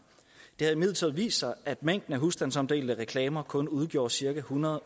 det har imidlertid vist sig at mængden af husstandsomdelte reklamer kun udgjorde cirka ethundrede